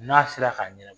N'a sera ka ɲɛna